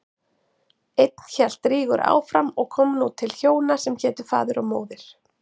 Enn hélt Rígur áfram og kom nú til hjóna sem hétu Faðir og Móðir.